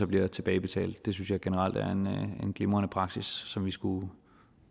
bliver det tilbagebetalt det synes jeg generelt er en glimrende praksis som vi skulle